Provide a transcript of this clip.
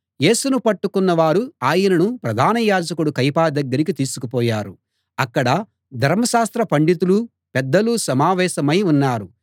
యేసును పట్టుకున్న వారు ఆయనను ప్రధాన యాజకుడు కయప దగ్గరికి తీసుకుపోయారు అక్కడ ధర్మశాస్త్ర పండితులు పెద్దలు సమావేశమై ఉన్నారు